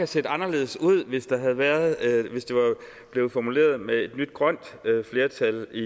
set anderledes ud hvis det havde været formuleret med et nyt grønt flertal i